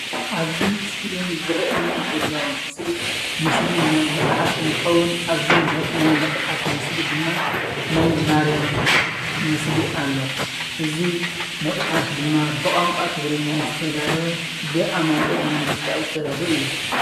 ኣብዚ ስክሪን ዝርኣየኒ ዘሎ ምስሊ ምስሊ ናይ መፅሓፍ እንትኸውን ኣብዚ ናይ መፅሓፍ ምስሊ ድማ ናይ ማርያም ምስሊ ኣሎ። እዚ መፅሓፍ ድማ ብቋንቋ ትግርኛ ዝተዳለወ ብኣማኒኤል መንግስትኣብ ዝተዳለወ እዩ።